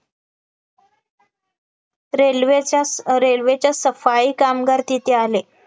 railway च्या railway च्या सफाई कामगार तिथे आले